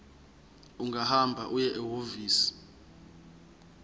ungahamba uye ehhovisi